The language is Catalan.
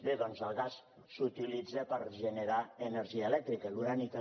bé doncs el gas s’utilitza per generar energia elèctrica l’urani també